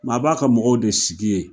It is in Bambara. Maa b'a ka mɔgɔw de sigi yen